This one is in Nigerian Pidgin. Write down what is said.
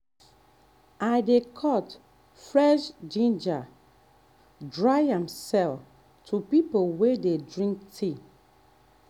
i dey cut um fresh ginger dry am sell to people wey dey drink tea.